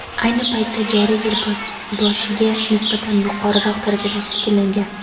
ayni paytda joriy yil boshiga nisbatan yuqoriroq darajada shakllangan.